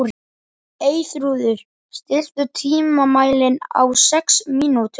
Eyþrúður, stilltu tímamælinn á sex mínútur.